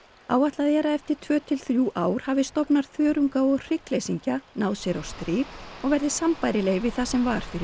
áætlað er að eftir tvö til þrjú ár hafi stofnar þörunga og hryggleysingja náð sér á strik og verði sambærilegir við það sem var fyrir